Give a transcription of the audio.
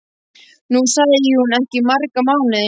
Nú sæi hún þau ekki í marga mánuði.